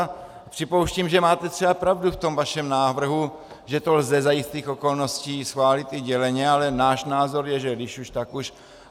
A připouštím, že máte třeba pravdu v tom vašem návrhu, že to lze za jistých okolností schválit i děleně, ale náš názor je, že když už tak už.